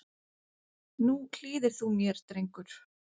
Nú hlýðir þú mér, drengur.